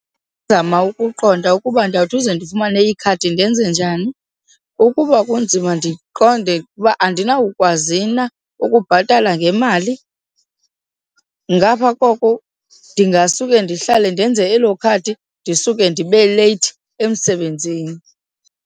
Ndingazama ukuqonda ukuba ndawuthi ukuze ndifumane ikhadi ndenze njani. Ukuba kunzima ndiqonde uba andinawukwazi na ukubhatala ngemali. Ngapha koko ndingasuke ndihlale ndenze elo khadi ndisuke ndibe leyithi emsebenzini.